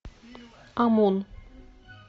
омон